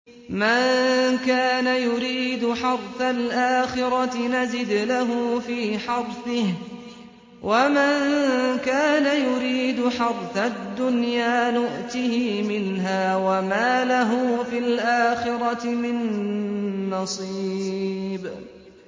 مَن كَانَ يُرِيدُ حَرْثَ الْآخِرَةِ نَزِدْ لَهُ فِي حَرْثِهِ ۖ وَمَن كَانَ يُرِيدُ حَرْثَ الدُّنْيَا نُؤْتِهِ مِنْهَا وَمَا لَهُ فِي الْآخِرَةِ مِن نَّصِيبٍ